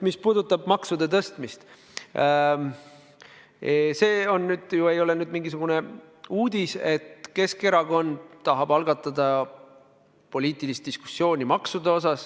Mis puudutab maksude tõstmist, siis see ei ole mingisugune uudis, et Keskerakond tahab algatada poliitilist diskussiooni maksude üle.